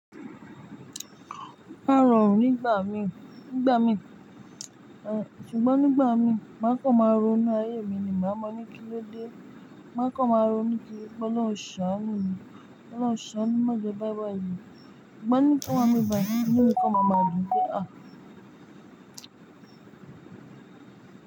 A rọrùn nígbà mi, nígbà mi, ṣùgbọ́n nígbà mi má kàn máa ronú ayé mi ni, máa mọ ní kí ló dé? Má kàn máa ronú kí pe Ọlọ́hùn ṣánù mi, Ọlọ́hùn ṣánù mi mó jẹ ba bayi ku. Ṣùgbọ́n ní kí wọ́n mu ìbànú mi kọ́, máa ma dùn pé a!